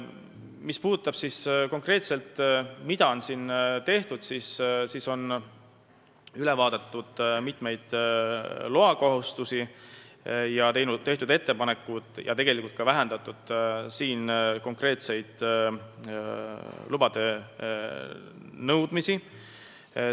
Mis puudutab seda, mida on konkreetselt tehtud, siis üle on vaadatud mitmeid loakohustusi ja tehtud ettepanekuid vähendada konkreetseid lubade nõudmisi.